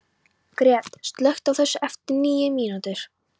Gret, slökktu á þessu eftir níu mínútur.